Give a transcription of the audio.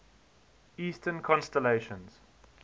eastern constellations